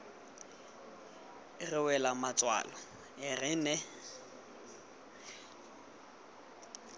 re wela matswalo re ne